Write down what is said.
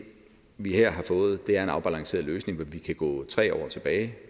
vi her har fået er en afbalanceret løsning vi kan gå tre år tilbage